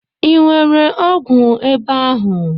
I nwere ọgwụ ebe ahụ?